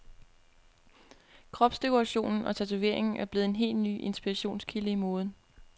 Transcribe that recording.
Kropsdekoration og tatovering er blevet en ny inspirationskilde i moden.